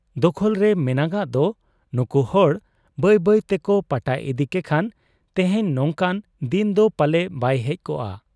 ᱫᱚᱠᱷᱚᱞᱨᱮ ᱢᱮᱱᱟᱜᱟᱜ ᱫᱚ ᱱᱩᱠᱩ ᱦᱚᱲ ᱵᱟᱹᱭ ᱵᱟᱹᱭ ᱛᱮᱠᱚ ᱯᱟᱴᱟ ᱤᱫᱤ ᱠᱮᱠᱷᱟᱱ ᱛᱮᱦᱮᱧ ᱱᱚᱝᱠᱟᱱ ᱫᱤᱱᱫᱚ ᱯᱟᱞᱮ ᱵᱟᱭ ᱦᱮᱡ ᱠᱚᱜ ᱟ ᱾